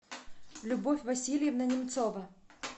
любовь васильевна немцова